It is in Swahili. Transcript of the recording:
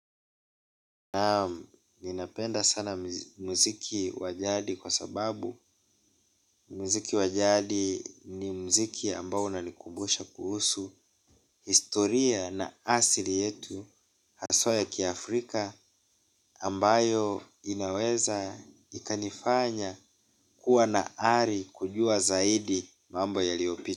Ninapenda sana muziki wa jadi kwa sababu muziki wa jadi ni muziki ambao unani kumbusha kuhusu historia na asili yetu haswa ya ki Afrika ambayo inaweza ikanifanya kuwa na ari kujua zaidi mambo yaliopita.